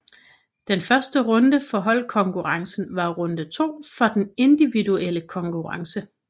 Den første runde for holdkonkurrencen var runde to for den individuelle konkurrence